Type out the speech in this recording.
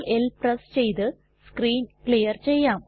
CltL press ചെയ്ത് screen clear ചെയ്യാം